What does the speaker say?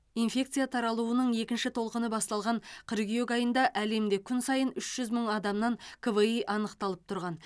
инфекция таралуының екінші толқыны басталған қыркүйек айында әлемде күн сайын үш жүз мың адамнан кви анықталып тұрған